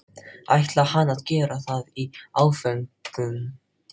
ætlaði hann að gera það í áföngum?